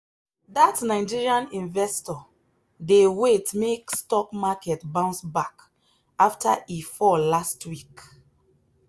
that nigerian investor dey wait make stock market bounce back after e fall last week.